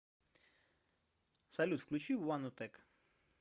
салют включи ванотек